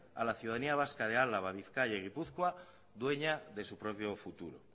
a la ciudadanía vasca de álava bizkaia y gipuzkoa dueña de su propio futuro